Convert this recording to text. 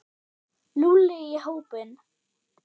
Lúlli í hópinn.